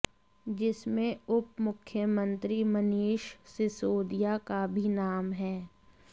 जिसमें उप मुख्यमंत्री मनीष सिसोदिया का भी नाम है